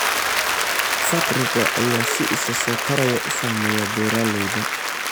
Faqriga ayaa si isa soo taraya u saameeya beeralayda.